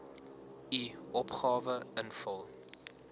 u opgawe invul